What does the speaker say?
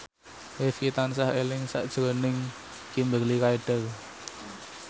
Rifqi tansah eling sakjroning Kimberly Ryder